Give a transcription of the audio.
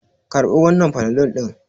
Karɓi wannan panadol ɗin!